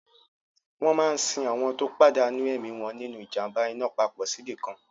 Wọ́n máa sin àwọn tó pàdánù ẹ̀mí wọn nínu ìjàm̀ba iná papọ̀ síbìkan